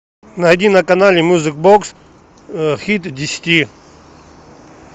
найди на канале мьюзик бокс хит десяти